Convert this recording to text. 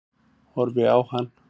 Horfi á hann.